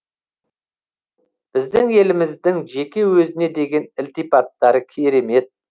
біздің еліміздің жеке өзіне деген ілтипаттары керемет